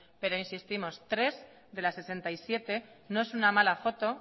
pero insistimos tres de las sesenta y siete no es una mala foto